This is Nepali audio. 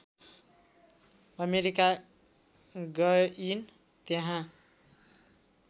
अमेरिका गइन् त्यहाँ